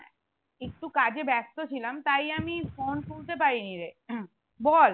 একটু কাজে ব্যস্ত ছিলাম তাই আমি phone তুলতে পারিনি রে বল